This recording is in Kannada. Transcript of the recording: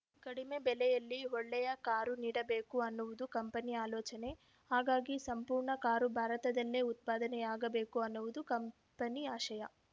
ಕಡಿಮೆ ಬೆಲೆಯಲ್ಲಿ ಒಳ್ಳೆಯ ಕಾರು ನೀಡಬೇಕು ಅನ್ನವುದು ಕಂಪನಿ ಆಲೋಚನೆ ಹಾಗಾಗಿ ಸಂಪೂರ್ಣ ಕಾರು ಭಾರತದಲ್ಲೇ ಉತ್ಪಾದನೆಯಾಗಬೇಕು ಅನ್ನುವುದು ಕಂಪನಿ ಆಶಯ